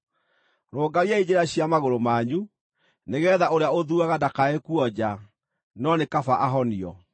“Rũngariai njĩra cia magũrũ manyu,” nĩgeetha ũrĩa ũthuaga ndakae kuonja, no nĩ kaba ahonio.